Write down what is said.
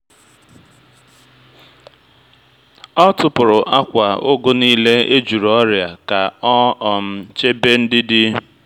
ọ tụpụ̀rù akwa ugu niile e juru ọrịa ka ọ um chebe ndị dị